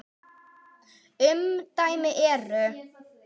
Umdæmin eru